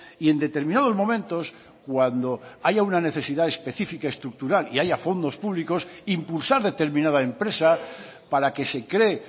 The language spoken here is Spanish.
y en determinados momentos cuando haya una necesidad especifica estructural y haya fondos públicos impulsar determinada empresa para que se cree